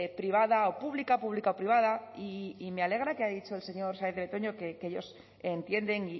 privada o pública pública o privada y me alegra que ha dicho el señor fernandez de betoño que ellos entienden